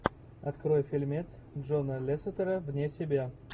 открой фильмец джона лесетера вне себя